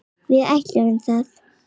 Við ætluðum það.